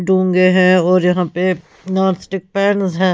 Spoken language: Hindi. डूंगे और यहां पे नॉनस्टिक पैन्स है।